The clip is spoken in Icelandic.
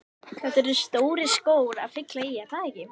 Þetta eru stórir skór að fylla í, er það ekki?